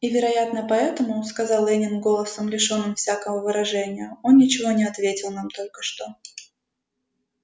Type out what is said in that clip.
и вероятно поэтому сказал лэннинг голосом лишённым всякого выражения он ничего не ответил нам только что